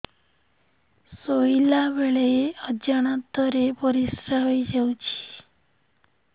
ଶୋଇଲା ବେଳେ ଅଜାଣତ ରେ ପରିସ୍ରା ହେଇଯାଉଛି